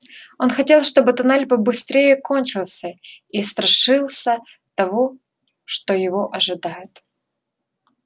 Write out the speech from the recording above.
он хотел чтобы тоннель побыстрее кончился и страшился того что его ожидает